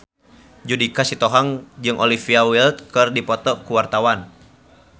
Judika Sitohang jeung Olivia Wilde keur dipoto ku wartawan